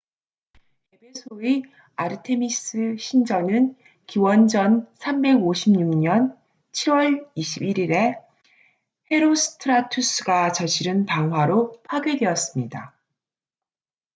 에베소의 아르테미스 신전은 기원전 356년 7월 21일에 헤로스트라투스가 저지른 방화로 파괴되었습니다